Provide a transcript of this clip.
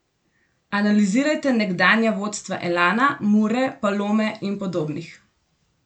Analizirajte nekdanja vodstva Elana, Mure, Palome in podobnih!